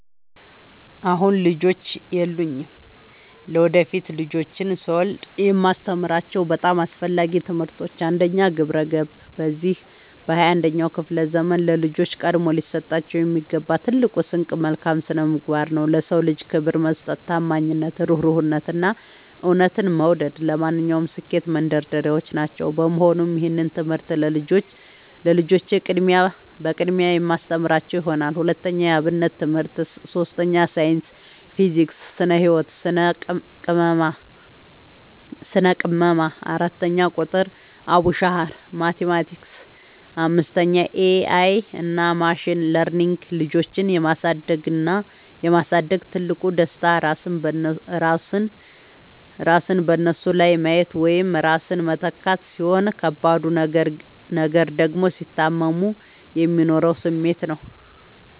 አሁን ልጆች የሉኝም። ለወደፊት ልጆችን ስወልድ የማስተምራቸው በጣም አስፈላጊ ትምህርቶች፦ 1. ግብረ-ገብ፦ በዚህ በ 21ኛው ክፍለ ዘመን ለልጆች ቀድሞ ሊሰጣቸው የሚገባው ትልቁ ስንቅ መልካም ስነምግባር ነው። ለ ሰው ልጅ ክብር መስጠት፣ ታማኝነት፣ እሩህሩህነት፣ እና እውነትን መውደድ ለማንኛውም ስኬት መንደርደሪያዎች ናቸው። በመሆኑም ይህንን ትምህርት ለልጆቼ በቅድሚያ የማስተምራቸው ይሆናል። 2. የ አብነት ትምህርት 3. ሳይንስ (ፊዚክስ፣ ስነ - ህወት፣ ስነ - ቅመማ) 4. ቁጥር ( አቡሻኽር፣ ማቲማቲክስ ...) 5. ኤ አይ እና ማሽን ለርኒንግ ልጆችን የ ማሳደግ ትልቁ ደስታ ራስን በነሱ ላይ ማየት ወይም ራስን መተካት፣ ሲሆን ከባዱ ነገር ደግሞ ሲታመሙ የሚኖረው ስሜት ነው።